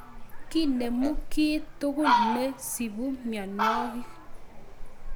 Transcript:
Kinemu kiy tugul ne to sipu mianwogik